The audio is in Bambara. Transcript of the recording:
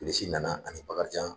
Bilisi nana ani Bakarijan